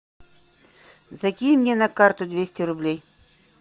закинь мне на карту двести рублей